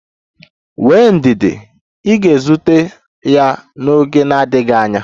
Nwee ndidi, ị ga-ezute ya n'oge na-adịghị anya.